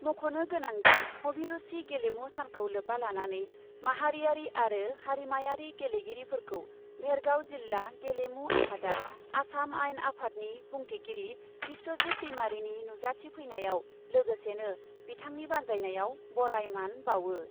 मख'नो गोनांदि, अभिरुसि गेलेमु सानखौ लोब्बा लानानै माहारियारि आरो हारिमायारि गेलेगिरिफोरखौ भेरगाव जिल्ला गेलेमु आफादआ आसाम आइन आफादनि बुंथिगिरि बिस्वजित दैमारिनि नुजाथि फैनायाव, लोगोसेनो बिथांनि बान्जायनायाव बराय मान बाउओ ।